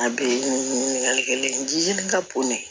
A bɛ ɲininkali kelen ka bon ne